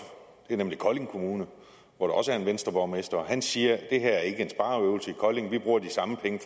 det er nemlig kolding kommune hvor der også er en venstreborgmester og han siger at det her ikke er en spareøvelse i kolding at de bruger de samme penge